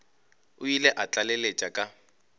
o ile a tlaleletša ka